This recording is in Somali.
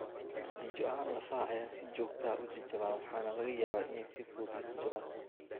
Natiijo ahaan, lafaha ayaa si joogta ah u jajaban waxaana laga yaabaa inay si fudud u jajabaan.